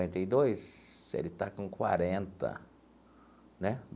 Cinquenta e dois, ele está com quarenta, né?